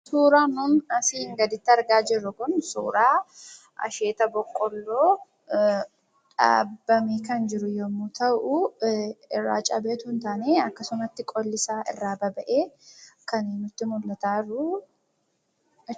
Suuraan nun asirratti argaa jirru Kun, suuraa asheeta boqqolloo dhaabbame kan jiru yemmuu ta'u, irraa cabee osoo hin taane akkasumatti qolli isaa irraa baba'ee kan nutti mul'ataa jiru jechuudha.